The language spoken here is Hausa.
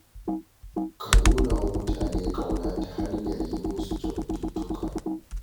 Ka nuna wa mutane ƙauna ta hanyar yi musu kyaututtuka